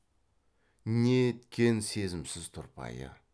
неткен сезімсіз тұрпайы